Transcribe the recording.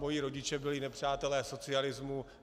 Moji rodiče byli nepřátelé socialismu.